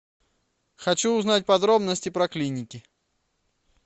хочу узнать подробности про клиники